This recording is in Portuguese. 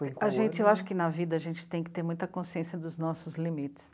A gente, eu acho que na vida a gente tem que ter muita consciência dos nossos limites.